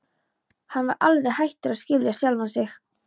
Hann var alveg hættur að skilja sjálfan sig.